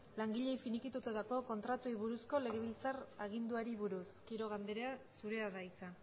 langileei finikitatutako kontratuei buruzko legebiltzar aginduari buruz quiroga anderea zurea da hitza